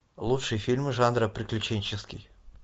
лучшие фильмы жанра приключенческий